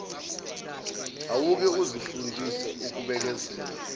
awuke uzifundise ukubekezela